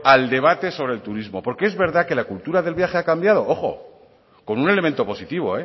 al debate sobre el turismo porque es verdad que la cultura de viaje ha cambiado ojo con un elemento positivo